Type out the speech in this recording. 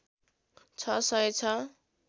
६ सय ६